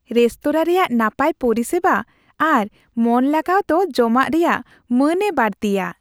Restaurant ᱨᱮᱭᱟᱜ ᱱᱟᱯᱟᱭ ᱯᱚᱨᱤᱥᱮᱵᱟ ᱟᱨ ᱢᱚᱱ ᱞᱟᱜᱟᱣ ᱫᱚ ᱡᱚᱢᱟᱜ ᱨᱮᱭᱟᱜ ᱢᱟᱹᱱᱮ ᱵᱟᱹᱲᱛᱤᱼᱟ ᱾